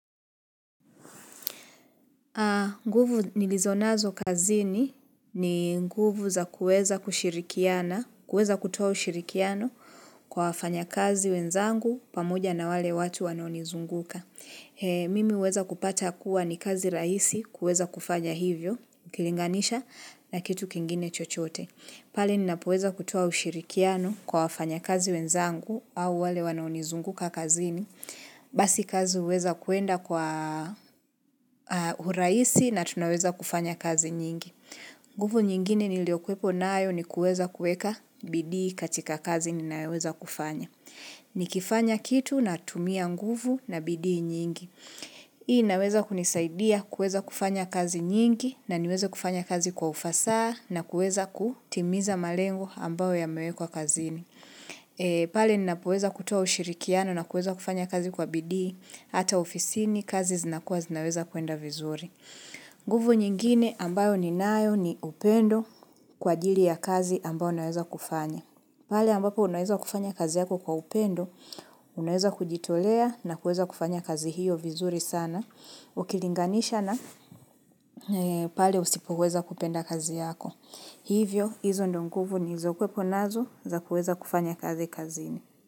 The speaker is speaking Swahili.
Nguvu nilizonazo kazini ni nguvu za kuweza kutoa ushirikiano kwa wafanya kazi wenzangu pamoja na wale watu wanaonizunguka. Mimi huweza kupata kuwa ni kazi rahisi kuweza kufanya hivyo, ukilinganisha na kitu kingine chochote. Pale ninapoweza kutoa ushirikiano kwa wafanyakazi wenzangu au wale wanaonizunguka kazini. Basi kazi huweza kuenda kwa urahisi na tunaweza kufanya kazi nyingi. Nguvu nyingine niliokuwepo nayo ni kuweza kuweka bidii katika kazi ninayoweza kufanya. Nikifanya kitu ninatumia nguvu na bidii nyingi. Hii inaweza kunisaidia kuweza kufanya kazi nyingi na niweze kufanya kazi kwa ufasaha na kuweza kutimiza malengo ambayo yamewekwa kazini. Pale ninapoweza kutoa ushirikiano na kuweza kufanya kazi kwa bidii, hata ofisini kazi zinakua zinaweza kuenda vizuri. Nguvu nyingine ambayo ninayo ni upendo kwa ajili ya kazi ambayo ninaweza kufanya. Pale ambapo unaweza kufanya kazi yako kwa upendo, unaweza kujitolea na kuweza kufanya kazi hiyo vizuri sana, ukilinganisha na pale usipoweza kupenda kazi yako. Hivyo, hizo ndizo nguvu nilizokwepo nazo za kuweza kufanya kazi kazini.